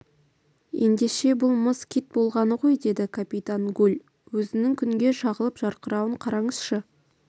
ендеше бұл мыс кит болғаны ғой деді капитан гульөзінің күнге шағылып жарқырауын қараңызшы